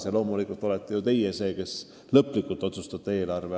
Ja loomulikult on ju Riigikogu see, kes lõplikult otsustab eelarve.